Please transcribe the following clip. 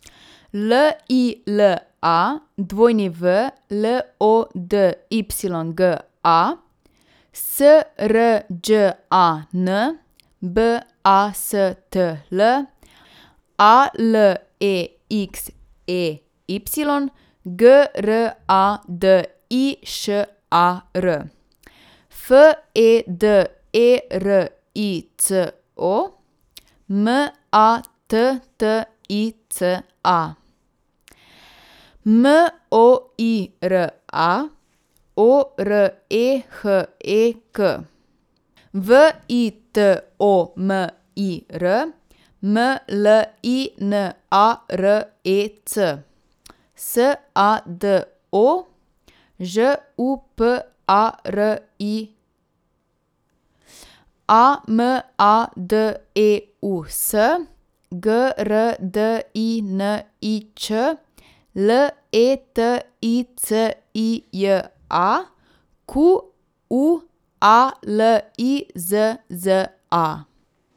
L I L A, W L O D Y G A; S R Đ A N, B A S T L; A L E X E Y, G R A D I Š A R; F E D E R I C O, M A T T I C A; M O I R A, O R E H E K; V I T O M I R, M L I N A R E C; S A D O, Ž U P A R I; A M A D E U S, G R D I N I Č; L E T I C I J A, Q U A L I Z Z A.